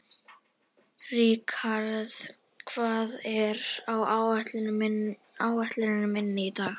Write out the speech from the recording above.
Rikharð, hvað er á áætluninni minni í dag?